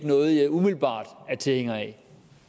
noget jeg umiddelbart er tilhænger af